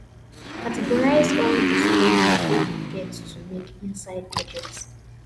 categorize all di spending wey you get to make inside budget